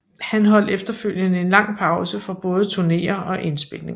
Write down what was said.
Han holdt efterfølgende en lang pause fra både turnéer og indspilninger